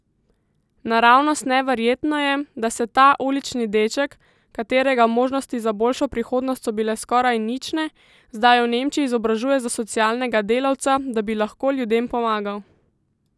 Naravnost neverjetno je, da se ta ulični deček, katerega možnosti za boljšo prihodnost so bile skoraj nične, zdaj v Nemčiji izobražuje za socialnega delavca, da bi lahko ljudem pomagal!